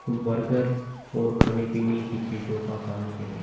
Burger और खाने पिने की चीज़ो का काम किया गया है।